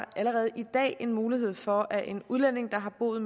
allerede i dag en mulighed for at en udlænding der har boet